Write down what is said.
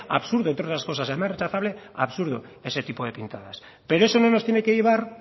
absurdo entre otras cosas además de rechazable absurdo ese tipo de pintadas pero eso no nos tiene que llevar